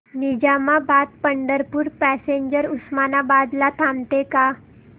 Nizamabad Pandharpur passenger Osmanabad ला थांबते का